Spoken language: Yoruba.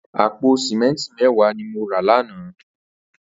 Àpó sìmẹntí mẹ̀wá ni mó rá làná